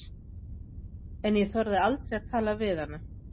En ég þorði aldrei að tala við hana.